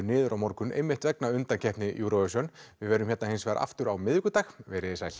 niður á morgun einmitt vegna undankeppni Eurovision við verðum hérna hins vegar aftur á miðvikudag verið þið sæl